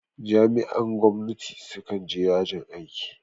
Jami'ar gwamnati su kan je yajin aiki